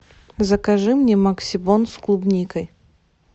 закажи мне максибон с клубникой